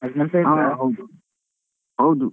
ಹಾ ಹಾ ಹಾ ಹೌದು ಹೌದು.